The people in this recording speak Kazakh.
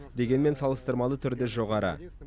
дегенмен салыстырмалы түрде жоғары